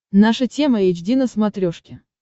наша тема эйч ди на смотрешке